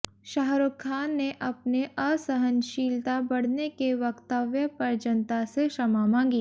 शाहरूख खान ने अपने असहनशीलता बढने के वक्तव्य पर जनता से क्षमा मांगी